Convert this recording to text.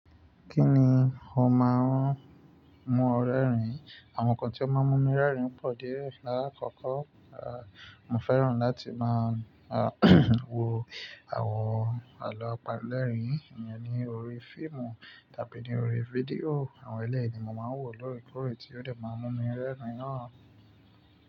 Kí ni ó máa ń mú ọ rẹ́rìn? Àwọn nǹkan tí ó máa ń mú mi rẹ́rìn pọ̀ díẹ̀. Láàkọ́kọ́, à, mo fẹ́ràn láti máa wo àwọn àlọ́ apanilerin ìyẹn ni orí fíìmù tàbí ní orí fídíò. Àwọn ẹlẹ́rìí ni mo máa ń wò lóòrèkóòrè tí yóò dẹ̀ máa mú mi rẹ́rìn náà.